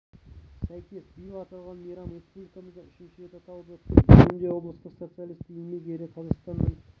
сәйкес биыл аталған мейрам республикамызда үшінші рет аталып өтті бүгінде облыста социалистік еңбек ері қазақстанның